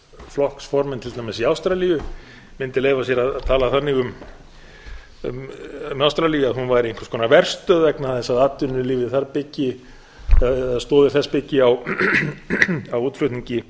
flokksformenn til dæmis í ástralíu mundu leyfa sér að tala þannig um ástralíu að hún væri einhvers konar verstöð vegna þess að atvinnulífið þar eða stoðir þess byggi á útflutningi